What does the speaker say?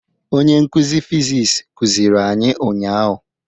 Onye nkuzi fiziks kuziri anyị ụnyahụ.